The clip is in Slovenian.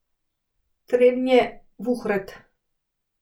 Trebnje, Vuhred.